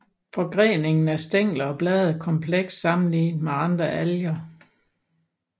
Forgreningen af stængler og blade er kompleks sammenlignet med andre alger